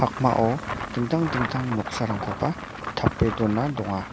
dingtang dingtang noksarangkoba tape dona donga.